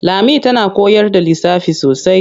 Lami tana koyar da lissafi sosai.